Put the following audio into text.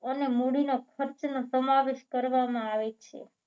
અને મૂડીનો ખર્ચનો સમાવેશ કરવામાં આવે છે